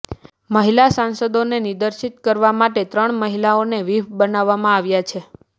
મહિલા સાંસદોને નિર્દેશિત કરવા માટે ત્રણ મહિલાઓને વ્હિપ બનાવવામાં આવ્યા છે